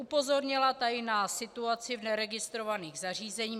Upozornila tady na situaci v neregistrovaných zařízeních.